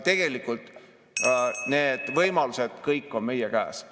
Tegelikult kõik need võimalused on meie käes.